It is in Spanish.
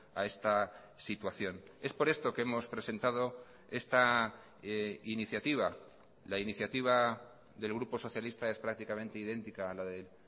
a esta situación es por esto que hemos presentado esta iniciativa la iniciativa del grupo socialista es prácticamente idéntica a la del